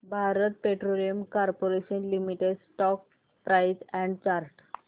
Bharat petroleum corporation limited stock price and chart